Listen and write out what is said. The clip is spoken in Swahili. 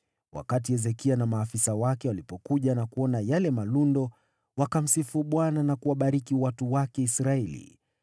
Wakati Hezekia na maafisa wake walipokuja na kuona yale malundo, wakamsifu Bwana na kuwabariki watu wake Israeli.